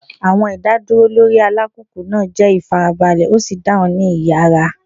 Awọn idaduro lori alupupu naa jẹ ifarabalẹ o si dahun ni iyara.